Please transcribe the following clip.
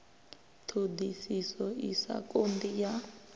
ṱhoḓisiso i sa konḓi ya